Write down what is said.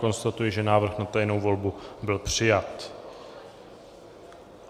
Konstatuji, že návrh na tajnou volbu byl přijat.